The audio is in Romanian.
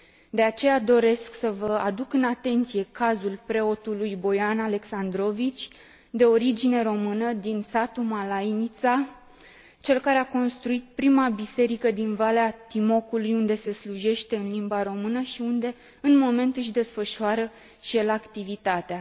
De aceea, doresc să vă aduc în atenție cazul preotului Boian Alexandrovici, de origine română, din satul Malajnica, cel care a construit prima biserică din Valea Timocului unde se slujește în limba română și unde, pe moment, își desfășoară și el activitatea.